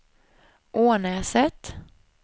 Ånäset